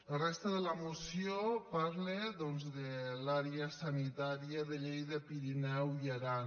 la resta de la moció parla de l’àrea sanitària de lleida pirineu i aran